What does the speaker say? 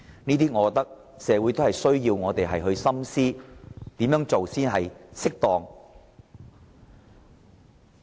我認為社會期望我們深思甚麼才是適當做法。